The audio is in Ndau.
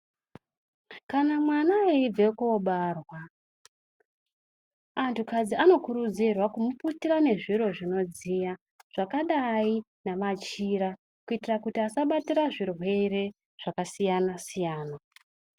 Kana mwana eibve kobarwa antu kadzi anokurudzirwa kumuputira nezviro zvinodziya zvakadai nemachira. Kuitira kuti asabatire zvirwere zvakasiyana-siyana.